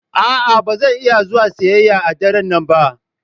A'a, ba zan iya zuwa siyayya a daren nan ba.